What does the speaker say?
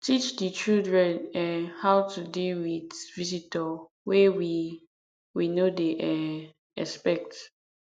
teach di children um how to deal with visitor wey we we no um dey expect